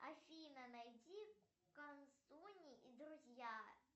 афина найди канцони и друзья